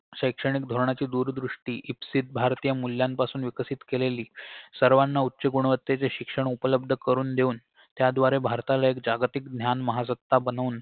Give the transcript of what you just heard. शैक्षणिक धोरणाची दूरदृष्टी इप्सित भारतीय मूल्यांपासून विकसित केलेली सर्वांना उच्च गुणवत्तेचे शिक्षण उपलब्ध करून देऊन त्याद्वारे भारताला एक जागतिक ज्ञान महासत्ता बनवून